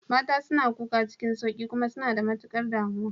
Mata suna kuka cikin sauƙi kuma suna da matukar damuwa.